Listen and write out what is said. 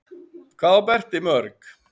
Hvað á Berti mörg?